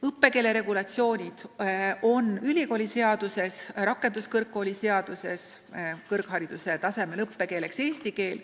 Õppekeelt reguleerivad meil ülikooliseadus ja rakenduskõrgkooli seadus: kõrghariduse taseme õppekeel on eesti keel.